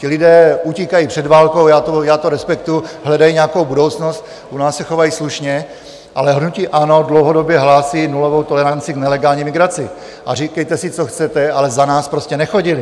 Ti lidé utíkají před válkou, já to respektuji, hledají nějakou budoucnost, u nás se chovají slušně, ale hnutí ANO dlouhodobě hlásí nulovou toleranci k nelegální migraci a říkejte si, co chcete, ale za nás prostě nechodili.